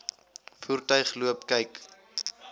voertuig loop kyk